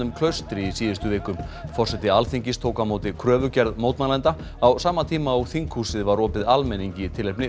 Klaustri í síðustu viku forseti Alþingis tók á móti kröfugerð mótmælenda á sama tíma og þinghúsið var opið almenningi í tilefni